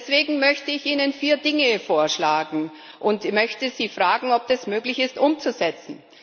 Deswegen möchte ich Ihnen vier Dinge vorschlagen und Sie fragen, ob es möglich ist, das umzusetzen.